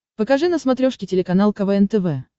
покажи на смотрешке телеканал квн тв